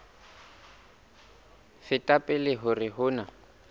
feta pele hore ho na